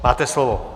Máte slovo.